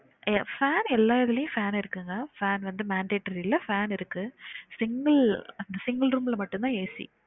அய்யோ Fan எல்லா இதுலையும் fan இருக்குங்க fan வந்து mandatory ல fan இருக்கு single single room ல மட்டும் தான் AC